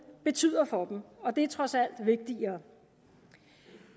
betyder for dem og det er trods alt vigtigere